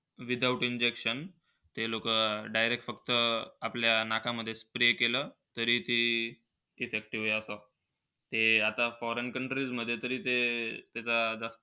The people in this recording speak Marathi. Without injection ते लोकं, अं direct फक्त आपल्या नाकामध्ये spray केलं. तरी ते foreign countries मध्ये आता ते.